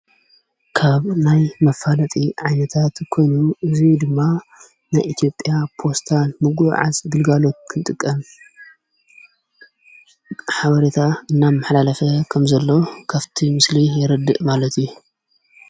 ካብ ናይ መፋለጢ ዓይነታት ዝኾኑ እዙይ ድማ ናይ ኢቲጵያ ጶስታን ምጕዕዓስ ድልጋሎት ክንጥቀ ሓበሬታ እናብ መሓላለፈ ከም ዘሎ ከፍቲ ምስሊ የረድእ ማለት እዩ ::